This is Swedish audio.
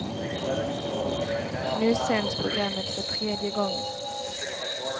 Nu sänds programmet för tredje gången.